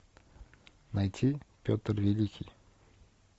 найти петр великий